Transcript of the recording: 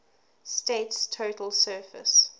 state's total surface